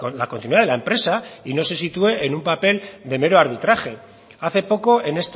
la continuidad de la empresa y no se sitúe en un papel de mero arbitraje hace poco en